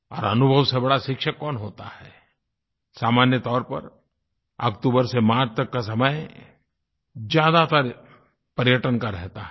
और अनुभव से बड़ा शिक्षक कौन होता है सामान्य तौर पर अक्तूबर से मार्च तक का समय ज्यादातर पर्यटन का रहता है